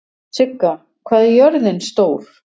Sigga, hvað er jörðin stór?